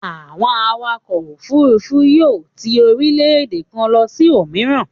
Àwọn awakọ̀ òfurufú yóò ti orílẹ̀-èdè kan lọ sí òmíràn.